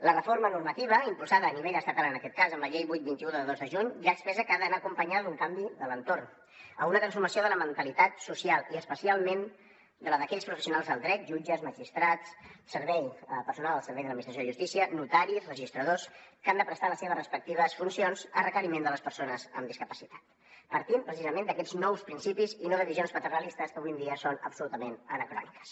la reforma normativa impulsada a nivell estatal en aquest cas amb la llei vuit vint un de dos de juny ja expressa que ha d’anar acompanyada d’un canvi de l’entorn una transformació de la mentalitat social i especialment de la d’aquells professionals del dret jutges magistrats personal al servei de l’administració de justícia notaris registradors que han de prestar les seves respectives funcions a requeriment de les persones amb discapacitat partint precisament d’aquests nous principis i no de visions paternalistes que avui en dia són absolutament anacròniques